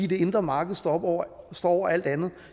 det indre marked står over alt andet